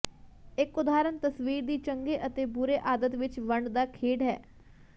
ਇੱਕ ਉਦਾਹਰਨ ਤਸਵੀਰ ਦੀ ਚੰਗੇ ਅਤੇ ਬੁਰੇ ਆਦਤ ਵਿੱਚ ਵੰਡ ਦਾ ਖੇਡ ਹੈ